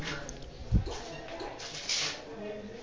संभाषण नाही